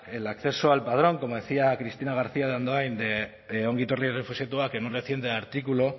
el acceso al padrón como decía cristina garcía de andoin de ongi etorri errefuxiatuak en un reciente artículo